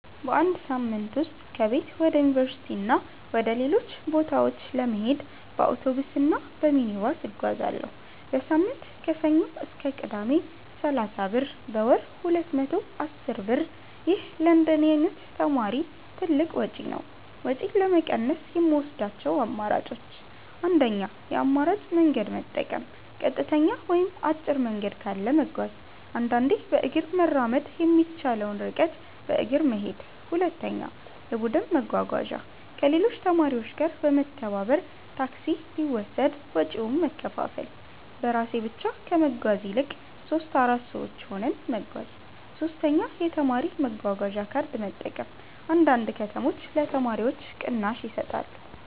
በአንድ ሳምንት ውስጥ ከቤት ወደ ዩኒቨርሲቲ እና ወደ ሌሎች ቦታዎች ለመሄድ በአውቶቡስ እና በሚኒባስ እጓዛለሁ። · በሳምንት (ከሰኞ እስከ ቅዳሜ) = 30 ብር · በወር = 210 ብር ይህ ለእንደኔ ተማሪ ትልቅ ወጪ ነው። ወጪን ለመቀነስ የምወስዳቸው አማራጮች 1. የአማራጭ መንገድ መጠቀም · ቀጥተኛ ወይም አጭር መንገድ ካለ መጓዝ · አንዳንዴ በእግር መራመድ የሚቻለውን ርቀት በእግር መሄድ 2. የቡድን መጓጓዣ · ከሌሎች ተማሪዎች ጋር በመተባበር ታክሲ ቢወሰድ ወጪውን መከፋፈል · በራሴ ብቻ ከመጓዝ ይልቅ 3-4 ሰዎች ሆነን መጓዝ 3. የተማሪ መጓጓዣ ካርድ መጠቀም · አንዳንድ ከተሞች ለተማሪዎች ቅናሽ ይሰጣሉ